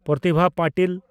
Pratibha Patil